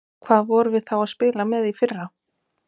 Hvað vorum við þá að spila með í fyrra?